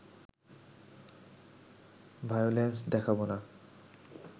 violence দেখাব না